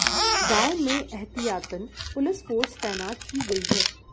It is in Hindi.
गांव में एहतियातन पुलिस फोर्स तैनात की गई है